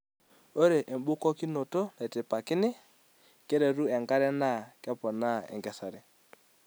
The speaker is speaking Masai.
Ore ebukokinoto naitipakini keretu enkare na kepona enkesare.